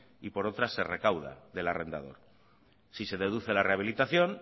y por otra se recauda del arrendador si se deduce la rehabilitación